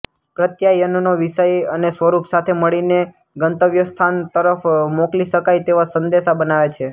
પ્રત્યાયનનો વિષય અને સ્વરૂપ સાથે મળીને ગંતવ્યસ્થાન તરફ મોકલી શકાય તેવા સંદેશા બનાવે છે